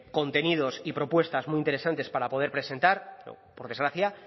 contenidos y propuestas muy interesantes para poder presentar por desgracia